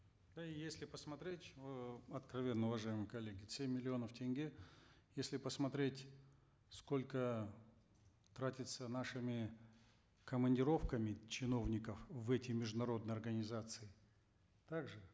ну и если посмотреть э откровенно уважаемые коллеги семь миллионов тенге если посмотреть сколько тратится нашими командировками чиновников в эти международные организации так же